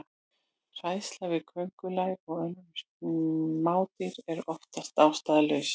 Hræðsla við köngulær og önnur smádýr er oftast ástæðulaus.